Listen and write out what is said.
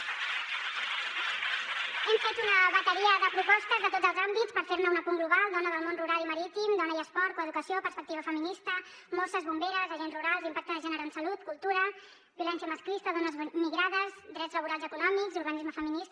hem fet una bateria de propostes de tots els àmbits per fer ne un apunt global dona del món rural i marítim dona i esport coeducació perspectiva feminista mosses bomberes agents rurals impacte de gènere en salut cultura violència masclista dones migrades drets laborals i econòmics urbanisme feminista